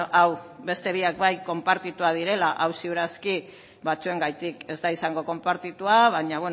hau beste biak bai konpartituak direla hau ziur aski batzuengatik ez da izango konpartitua baina